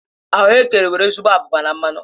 Ahuekere nwere ezigbo abụba na mmanụ